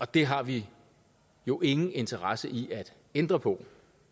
det har vi jo ingen interesse i at ændre på